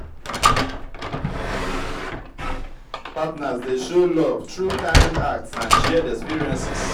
partners dey show love through kind acts and shared experiences.